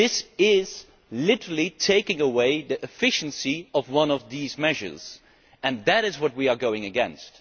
So this is literally taking away the efficiency of one of these measures, and that is what we are against.